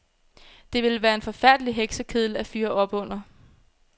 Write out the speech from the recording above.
Det ville være en forfærdelig heksekedel at fyre op under.